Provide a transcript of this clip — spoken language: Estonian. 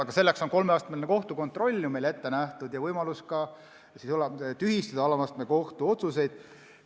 Aga selleks ongi meil ette nähtud kolmeastmeline kohtusüsteem ja võimalus alama astme kohtu otsuseid tühistada.